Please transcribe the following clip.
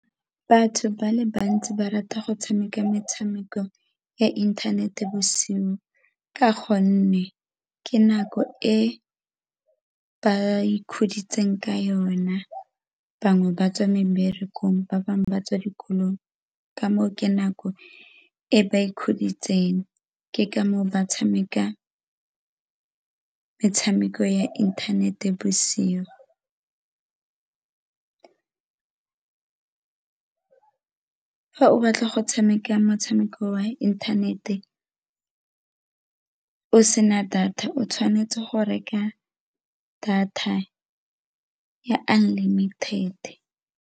Batho ba le bantsi ba rata go tshameka metshameko ya inthanete bosigo ka gonne ke nako e ba ikhuditseng ka yona, bangwe ba tswa meberekong ba bangwe ba tswa dikolong, ka moo ke nako e ba ikgodisa itseng ke ka moo ba tshameka metshameko ya inthanete bosigo. Fa o batla go tshameka motshameko wa inthanete o sena data o tshwanetse go reka data ya unlimited.